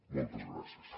moltes gràcies